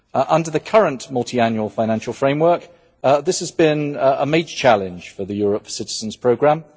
Under the current Multiannual Financial Framework this has been a major challenge for the Europe for Citizens programme.